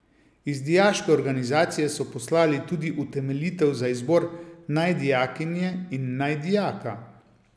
Iz dijaške organizacije so poslali tudi utemeljitev za izbor naj dijakinje in naj dijaka.